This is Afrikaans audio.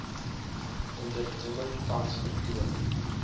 onderneming tans vertoon